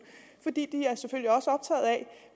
de